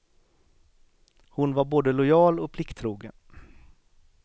Hon var både lojal och plikttrogen.